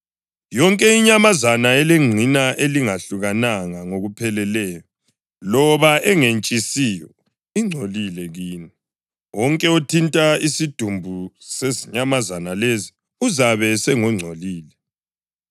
Yonke inyamazana elengqina elingehlukananga ngokupheleleyo loba engentshisiyo ingcolile kini, wonke othinta isidumbu sezinyamazana lezi uzabe esengongcolile.